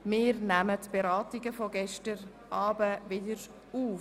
Wir nehmen die Beratungen von gestern Abend wieder auf.